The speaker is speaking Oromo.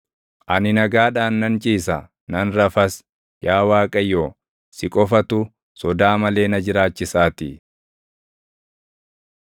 Ani nagaadhaan nan ciisa; nan rafas; yaa Waaqayyo si qofatu, sodaa malee na jiraachisaatii.